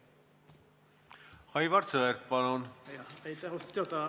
Aivar Sõerd, palun!